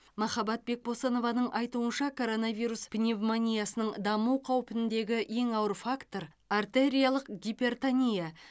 махаббат бекбосынованың айтуынша коронавирус пневмониясының даму қаупіндегі ең ауыр фактор артериялық гипертония